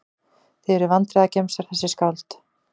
Þið eruð vandræðagemsar þessi skáld.